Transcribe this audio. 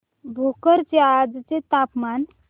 भोकर चे आजचे तापमान